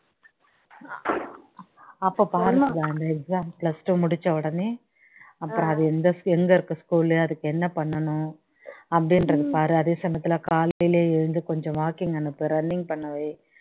அப்போ பாரு exam plus two முடிச்ச உடனே அப்பறோம் அது எந்த எங்க இருக்கு school லு அதுக்கு என்ன பண்ணணும் அப்படின்றது பாரு அதே சமயத்துல காலையில எழுந்து கொஞ்சம் walking அனுப்பு running பண்ணவை